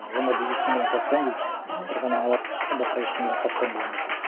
ы өмірде ештеңеден қорықпаймын дейді бір ғана алла басқа ештеңеден қорықпаймын бұл өмірде